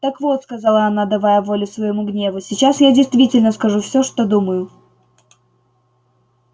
так вот сказала она давая волю своему гневу сейчас я действительно скажу всё что думаю